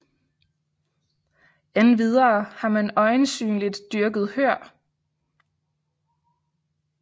Endvidere har man øjensynligt dyrket hør